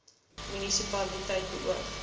munisi paliteit beoog